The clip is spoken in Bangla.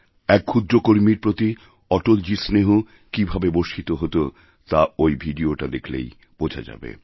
এক ক্ষুদ্র কর্মীর প্রতি অটলজীরস্নেহ কীভাবে বর্ষিত হত তা ঐ ভিডিওটা দেখলেই বোঝা যাবে